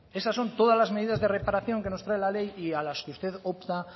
esas son todas las medidas de reparación que nos trae la ley y a las que usted opta